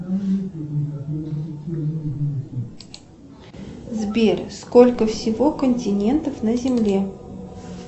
сбер сколько всего континентов на земле